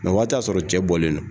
o waati y'a sɔrɔ cɛ bɔlen don.